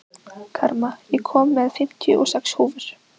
Karma, ég kom með fimmtíu og sex húfur!